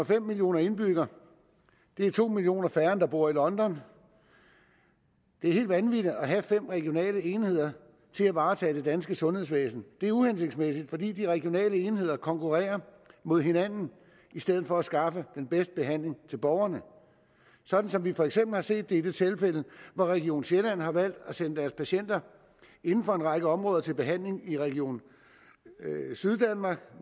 fem millioner indbyggere det er to millioner færre end der bor i london det er helt vanvittigt at have fem regionale enheder til at varetage det danske sundhedsvæsen det er uhensigtsmæssigt fordi de regionale enheder konkurrerer mod hinanden i stedet for at skaffe den bedste behandling til borgerne sådan som vi for eksempel har set det i det tilfælde hvor region sjælland har valgt at sende deres patienter inden for en række områder til behandling i region syddanmark